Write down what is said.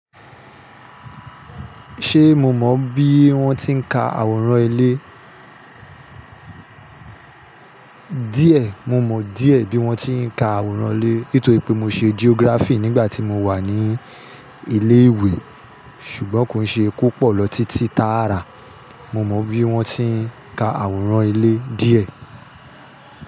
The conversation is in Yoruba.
Ṣé mo mọ bí wọ́n ti ń ka àwòrán ilé? Díẹ̀, mo mọ díẹ̀ bí wọ́n ti ń ka àwòrán ilé. Nítorí pé mo ṣe geography nígbà tí mo wà ní ilé ìwé, ṣùgbọ́n kò ṣe kó pọ̀ lọ títí táàrà. Mo mọ bí wọ́n ti ń ka àwòrán ilé díẹ̀.